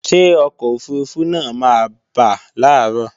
Ṣé ọkọ̀ òfurufú náà máa bà làárọ̀